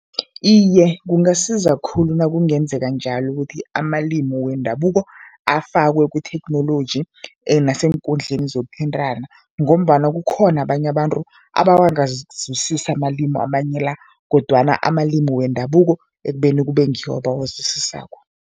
Iye, kungasiza khulu nakungenzeka njalo ukuthi amalimi wendabuko afakwe kuthekhnoloji naseenkundleni zokuthintana, ngombana kukhona abanye abantu abangawazwisisi amalimu amanye la kodwana amalimi wendabuko ekubeni kube ngiwo abawazwisisako.